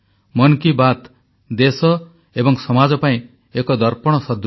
ମନ୍ କି ବାତ୍ ଦେଶ ଏବଂ ସମାଜ ପାଇଁ ଏକ ଦର୍ପଣ ସଦୃଶ